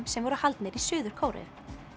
sem voru haldnir í Suður Kóreu